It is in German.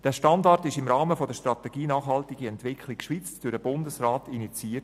Dieser Standard wurde im Rahmen der Strategie Nachhaltige Entwicklung (SNE) durch den Bundesrat initiiert.